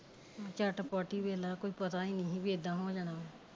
ਝੱਟ ਪੱਟ ਹੀ ਵੇਖਲਾ ਕੋਈ ਪਤਾ ਨੇ ਹੀ ਇਦਾ ਹੋ ਜਾਣਾ